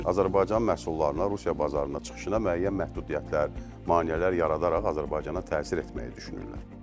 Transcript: Azərbaycan məhsullarına Rusiya bazarına çıxışına müəyyən məhdudiyyətlər, maneələr yaradaraq Azərbaycana təsir etməyi düşünürlər.